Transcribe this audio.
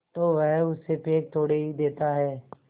तो वह उसे फेंक थोड़े ही देता है